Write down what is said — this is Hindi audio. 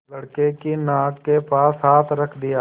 लड़के की नाक के पास हाथ रख दिया